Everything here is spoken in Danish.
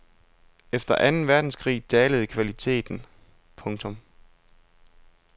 Efter anden verdenskrig dalede kvaliteten. punktum